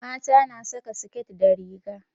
Mata na saƙa siket da riga.